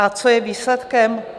A co je výsledkem?